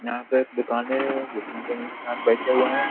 यहाँ पर दुकाने हैं जिसमें जो हैं गाहक बैठे हुए हैं।